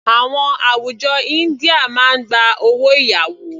Àwọn àwùjọ India máa gba owó ìyàwó.